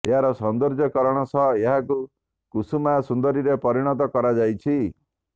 ଏହାର ସୌନ୍ଦର୍ଯ୍ୟକରଣ ସହ ଏହାକୁ କୁସୁମା ସୁନ୍ଦରୀରେ ପରିଣତ କରାଯାଇଛି